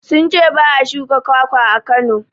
Sun ce ba a shuka kwakwa a Kano.